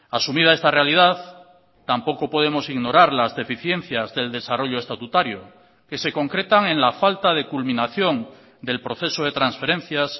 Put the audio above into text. asumida esta realidad tampoco podemos ignorar las deficiencias del desarrollo estatutario que se concretan en la falta de culminación del proceso de transferencias